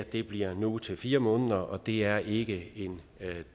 det bliver nu til fire måneder og det er ikke en